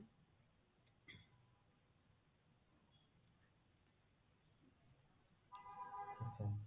ଆଚ୍ଛା